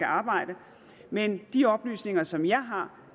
arbejde men de oplysninger som jeg har